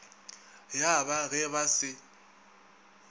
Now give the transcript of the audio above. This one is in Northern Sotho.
ya ba ge ba se